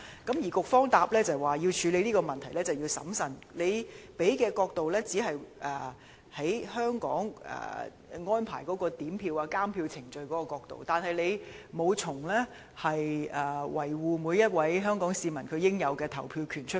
局長的答覆是，處理這個問題時必須審慎，但他只是從在香港安排點票和監票程序的角度考慮問題，而沒有從維護每位香港市民應有的投票權的角度出發。